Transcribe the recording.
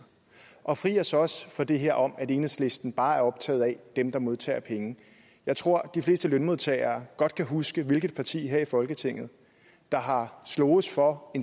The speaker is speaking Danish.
og fri os så også fra det her om at enhedslisten bare er optaget af dem der modtager penge jeg tror de fleste lønmodtagere godt kan huske hvilket parti her i folketinget der har sloges for